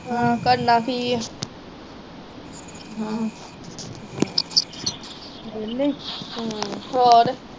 ਹਾਂ ਕਰਨਾ ਕੀ ਆ ਵੇਹਲੇ ਈ